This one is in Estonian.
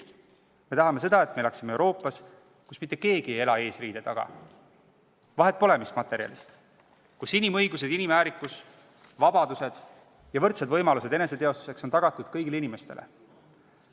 Me tahame elada Euroopas, kus mitte keegi ei elaks eesriide taga – vahet pole, mis materjalist see on – ning kus inimõigused, inimväärikus, vabadused ja võrdsed eneseteostuse võimalused oleksid tagatud kõigile inimestele.